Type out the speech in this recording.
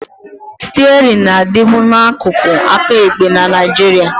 Stiarịn na-adịbu n'akụkụ aka ekpe na Nigeria